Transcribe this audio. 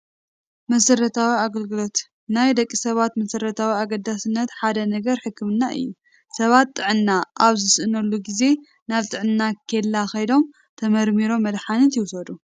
መሰረታዊ ግልግጋሎት፡- ካብ ናይ ደቂ ሰባት መሰረታውን ኣገደስትን ነገራት ሓደ ሕክምና እዩ፡፡ ሰባት ጥዕና ኣብ ዝስእንሉ ጊዜ ናብ ጥዕና ኬላ ከይዶም ተመርሚሮም መድሓኒት ይወስዱ፡፡